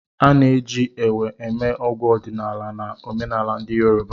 A na-eji Ewe eme ọgwụ ọdịnala na omenala ndị yoruba.